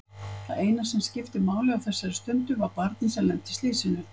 Það eina sem skipti máli á þessari stundu var barnið sem lenti í slysinu.